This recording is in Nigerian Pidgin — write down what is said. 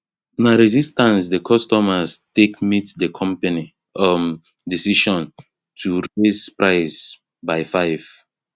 na resistance the consumers take meet the company um decision to go raise prices by 5